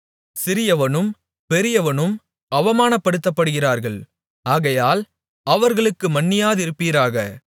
சிறியவனும் பெரியவனும் அவமானப்படுத்தப்படுகிறார்கள் ஆகையால் அவர்களுக்கு மன்னியாதிருப்பீராக